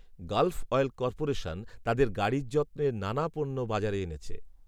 Gulf Oil Corporation তাদের গাড়ির যত্নের নানা পণ্য বাজারে এনেছে